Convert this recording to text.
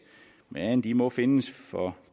men de må findes for